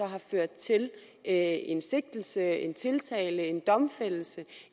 har ført til en en sigtelse en tiltale en domfældelse